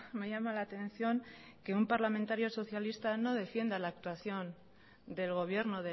me llama la atención que un parlamentario socialista no defienda la actuación del gobierno